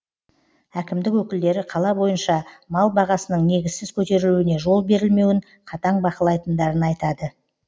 әкімдік өкілдері қала бойынша мал бағасының негізсіз көтерілуіне жол берілмеуін қатаң бақылайтындарын айтады